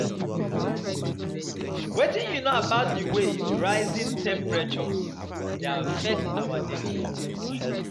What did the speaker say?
Wetin you know about di way rising temperatures dey affect our daily comfort?